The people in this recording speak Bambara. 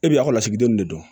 E bɛ ekɔlɔnsigiden de dɔn